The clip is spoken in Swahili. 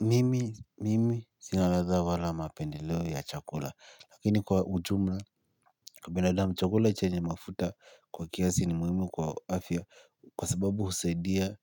Mimi sina ladha wala mapendeleo ya chakula lakini kwa ujumla. Kwa binadamu chakula chenye mafuta kwa kiasi ni muhimu kwa afia kwa sababu husaidia.